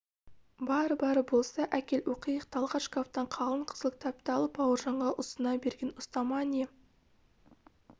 бар бар болса әкел оқиық талғат шкафтан қалың қызыл кітапты алып бауыржанға ұсына берген ұстама не